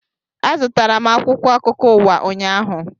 Azụtara m akwụkwọ akụkọ ụwa ụnyaahụ